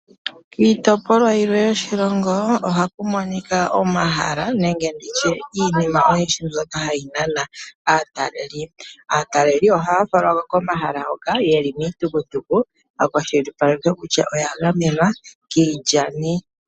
Kiitopolwa oyindji yoshilongo ohaku monika omahala nenge iinima oyindji mbyoka hayi nana aataleli. Aataleli ohaya falwa komahala hoka yeli miitukutuku yakwashilipalekwa kutya oyagamenwa kiilyani.